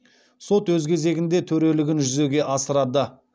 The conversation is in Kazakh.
сот өз кезегінде төрелігін жүзеге асырады